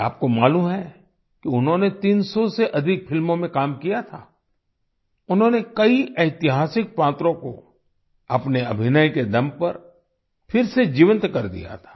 क्या आपको मालूम है कि उन्होंने 300 से अधिक फिल्मों में काम किया था उन्होंने कई ऐतिहासिक पात्रों को अपने अभिनय के दम पर फिर से जीवंत कर दिया था